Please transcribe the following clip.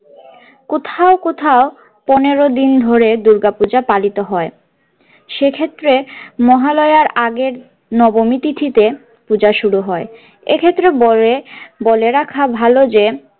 কোথাও কোথাও পনেরো দিন ধরে দূর্গাপূজা পালিত হয় সেক্ষেত্রে মহালয়ার আগের নবমী তিথিতে পূজা শুরু হয় এক্ষেত্রে বলে বলে রাখা ভালো যে।